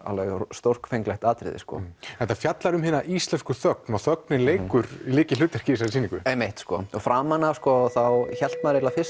stórfenglegt atriði þetta fjallar um hina íslensku þögn og þögnin leikur lykilhlutverk í þessari sýningu einmitt framan af hélt maður fyrst